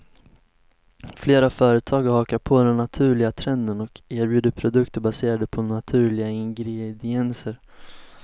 Flera företag har hakat på den naturliga trenden och erbjuder produkter baserade på naturliga ingredienser.